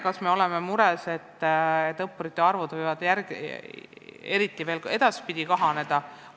Kas me oleme mures, et õppurite arv võib veel edaspidi kahaneda?